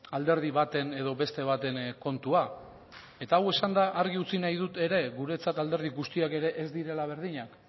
alderdi baten edo beste baten kontua eta hau esanda argi utzi nahi dut ere guretzat alderdi guztiak ere ez direla berdinak